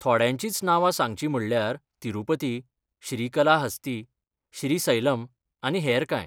थोड्यांचींच नांवां सांगचीं म्हणल्यार तिरूपती, श्रीकलाहस्ती, श्रीसैलम आनी हेर कांय.